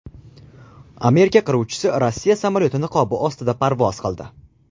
Amerika qiruvchisi Rossiya samolyoti niqobi ostida parvoz qildi .